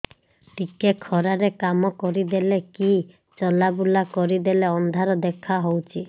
ଟିକେ ଖରା ରେ କାମ କରିଦେଲେ କି ଚଲବୁଲା କରିଦେଲେ ଅନ୍ଧାର ଦେଖା ହଉଚି